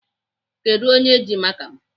Kedụ onye ji maka m?